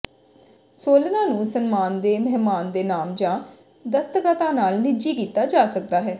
ਸੋਲਰਾਂ ਨੂੰ ਸਨਮਾਨ ਦੇ ਮਹਿਮਾਨ ਦੇ ਨਾਮ ਜਾਂ ਦਸਤਖਤਾਂ ਨਾਲ ਨਿੱਜੀ ਕੀਤਾ ਜਾ ਸਕਦਾ ਹੈ